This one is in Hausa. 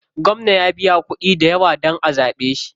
Gwamna ya biya kuɗi dayawa dan a zaɓe shi.